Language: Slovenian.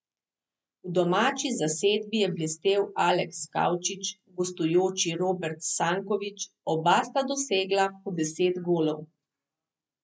V domači zasedbi je blestel Aleks Kavčič, v gostujoči Robert Sankovič, oba sta dosegla po deset golov.